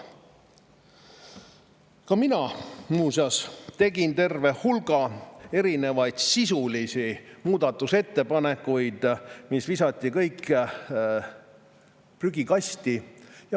Ka mina muuseas tegin terve hulga sisulisi muudatusettepanekuid, mis visati kõik prügikasti.